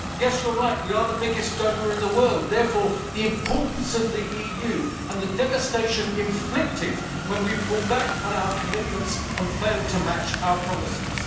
Yes, you are right, we are the biggest donor in the world, thus the importance of the EU and the devastation inflicted when we pull back on our commitments and fail to match our promises.